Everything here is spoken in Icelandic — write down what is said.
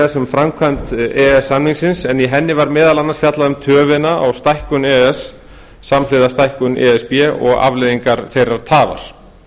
framkvæmd e e s samningsins en í henni var meðal annars fjallað um töfina á stækkun e e s samhliða stækkun e s b og afleiðingar þeirrar tafar